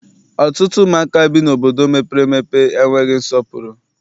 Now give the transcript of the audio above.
Ọtụtụ ụmụaka bi n'obodo mepere emepe enweghị nsọpụrụ.